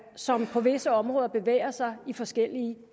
som på visse områder bevæger sig i forskellige